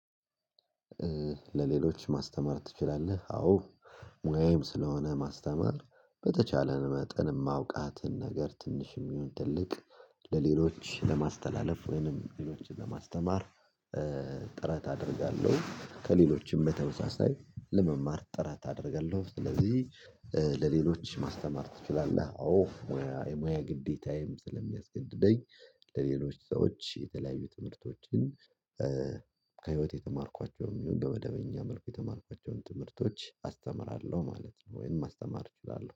ለሌሎች ማስተማር ትችላለህ አዎ ሙያዬም ስለሆነ ማስተማር በተቻለን መጠን ማውቃትን ነገር ትንሽ ይሁን ትልቅ ለሌሎች ለማስተላለፍ ወይንም ሌሎችን ለማስተማር። ጥረት አደርጋለሁ ከሌሎችም በተመሳሳይ ለመማር ጥረት አደርጋለሁ። ስለዚህ ለሌሎች ማስተማር ትችላለህ አዎ የሙያ የሙያ ግዴታዬም ስለሚያስገድደኝ። ለሌሎች ሰዎች የተለያዩ ትምህርቶችን ከህይወት የተማርኳቸውም ይሁን በመደበኛ መልኩ የተማርኳቸውን ትምህርቶች አስተምራለሁ ማለት ነው። ወይም ማስተማር እችላለሁ